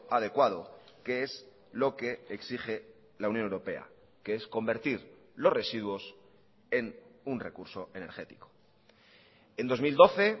adecuado que es lo que exige la unión europea que es convertir los residuos en un recurso energético en dos mil doce